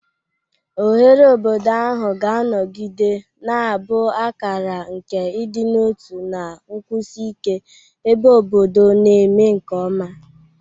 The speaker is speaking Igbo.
Oghere obodo ahụ ga-anọgide na-abụ akara nke ịdị n'otu na nkwụsi ike, ebe obodo na-eme nke ọma.